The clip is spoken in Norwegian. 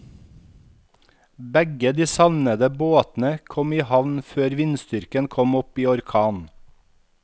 Begge de savnede båtene kom i havn før vindstyrken kom opp i orkan.